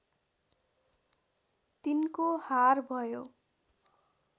तिनको हार भयो